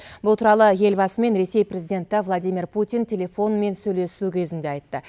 бұл туралы елбасымен ресей президенті владимир путин телефонмен сөйлесу кезінде айтты